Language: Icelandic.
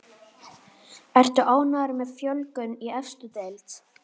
Ertu ánægður með fjölgun í efstu deild?